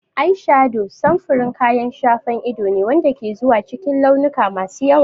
Ayshado samfurin kayan shafa ido ne wanda ke zuwa cikin launuka masu yawa.